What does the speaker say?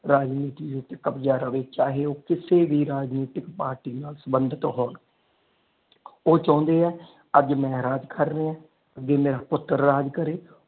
ਰਾਜਨੀਤੀ ਉਤੇ ਕਬਜਾ ਰਵੇ ਚਾਹੇ ਉਹ ਕਿਸੇ ਵੀ ਰਾਜਨੀਤਿਕ ਪਾਰਟੀ ਨਾਲ ਸੰਬੰਧਿਤ ਹੋਣ ਉਹ ਚਾਹੁੰਦੇ ਆ ਕਿ ਅੱਜ ਮੈਂ ਰਾਜ ਕਰ ਰਿਹਾ ਅਗੇ ਮੇਰਾ ਪੁੱਤਰ ਰਾਜ ਕਰੇ।